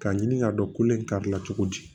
K'a ɲini k'a dɔn kolen kari la cogodi